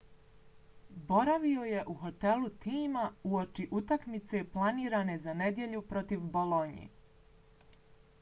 boravio je u hotelu tima uoči utakmice planirane za nedjelju protiv bolonje